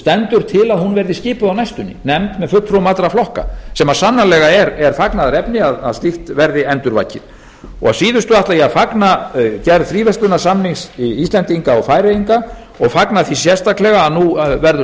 stendur til að hún verði skipuð á næstunni nefnd með fulltrúum allra flokka sem sannarlega er fagnaðarefni að slíkt verði endurvakið að síðustu ætla ég að fagna gerð fríverslunarsamnings íslendinga og færeyinga og fagna því sérstaklega að nú verður